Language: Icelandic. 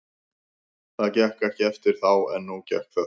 Það gekk ekki eftir þá en nú gekk það.